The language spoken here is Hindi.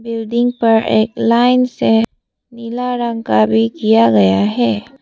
बिल्डिंग पर एक लाइन से नीला रंग का भी किया गया है।